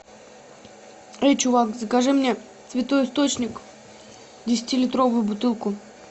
эй чувак закажи мне святой источник десятилитровую бутылку